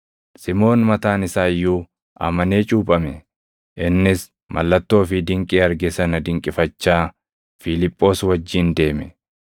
Simoon mataan isaa iyyuu amanee cuuphame. Innis mallattoo fi dinqii arge sana dinqifachaa Fiiliphoos wajjin deeme.